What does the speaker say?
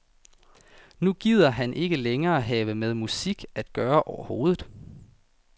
Nu gider han ikke længere have med musik at gøre overhovedet.